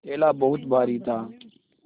थैला बहुत भारी था